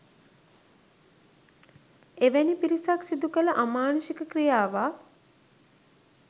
එවැනි පිරිසක් සිදුකළ අමානුෂික ක්‍රියාවක්